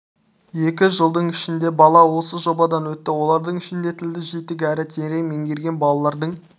екі жылдың ішінде бала осы жобадан өтті олардың ішінде тілді жетік әрі терең меңгерген балалардың